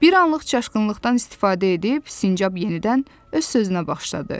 Bir anlıq çaşqınlıqdan istifadə edib sincab yenidən öz sözünə başladı.